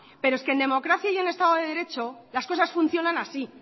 pero es que en democracia y en estado de derecho las cosas funcionan así